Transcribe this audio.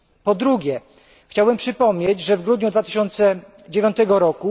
Po drugie chciałbym przypomnieć, że w grudniu 2009 r.